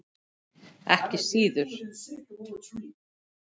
Ekki síður.